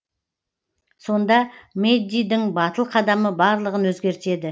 сонда мэддидің батыл қадамы барлығын өзгертеді